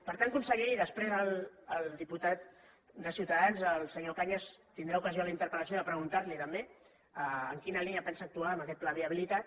per tant conseller i després el diputat de ciutadans el senyor cañas tindrà ocasió a la interpel·lació de preguntar li ho també en quina línia pensa actuar amb aquest pla de viabilitat